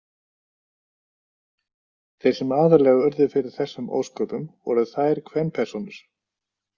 "Þeir sem aðallega urðu fyrir þessum ósköpum voru ""þær kvenpersónur."